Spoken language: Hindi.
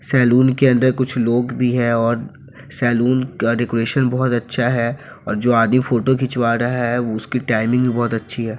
सलून के अंदर कुछ लोग भी है और सलून का डेकोरेशन बहुत अच्छा है और जो आदमी फोटो खिंचवा रहा है उसकी टाइमिंग भी बहुत अच्छी है।